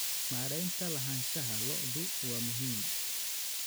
Maaraynta lahaanshaha lo'du waa muhiim.